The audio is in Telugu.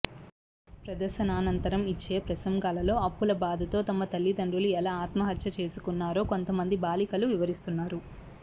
ప్రదర్శనానంతరం యిచ్చే ప్రసంగాల్లో అప్పుల బాధతో తమ తలిదండ్రులు ఎలా ఆత్మహత్య చేసుకున్నారో కొంతమంది బాలికలు వివరిస్తున్నారు